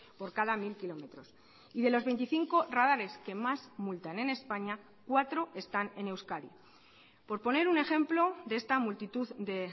por cada mil kilómetros y de los veinticinco radares que más multan en españa cuatro están en euskadi por poner un ejemplo de esta multitud de